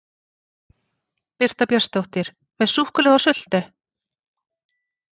Birta Björnsdóttir: Með súkkulaði og sultu?